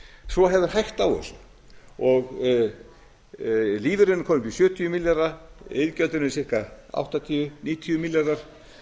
svo hefur hægt á þessu lífeyririnn er kominn upp í sjötíu milljarða iðgjöldin eru í ca áttatíu til níutíu milljarðar